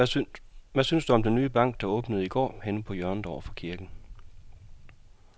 Hvad synes du om den nye bank, der åbnede i går dernede på hjørnet over for kirken?